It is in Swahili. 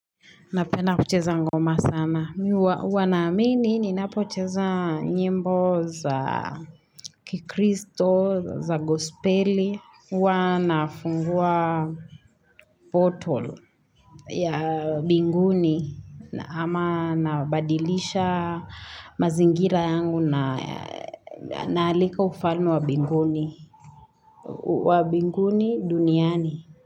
Napenda kucheza ngoma sana. Mi huwa naamini, nina pocheza nyimbo za kikristo, za gospeli. Huwa nafungua portal ya binguni. Ama nabadilisha mazingira yangu na naalika ufalme wa binguni. Wa binguni duniani.